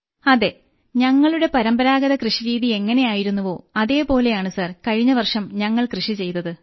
അതെ ഞങ്ങളുടെ പരമ്പരാഗത കൃഷിരീതി എങ്ങനെയായിരുന്നുവോ അതോപോലെയാണ് സർ കഴിഞ്ഞവർഷം ഞങ്ങൾ കൃഷിചെയ്തത്